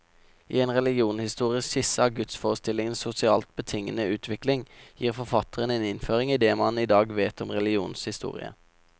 I en religionshistorisk skisse av gudsforestillingenes sosialt betingede utvikling, gir forfatteren en innføring i det man i dag vet om religionens historie.